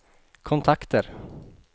kontakter